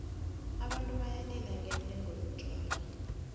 abantu bayalila ngendengo yotjhwala